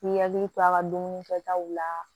N'i hakili to a ka dumuni kɛtaw la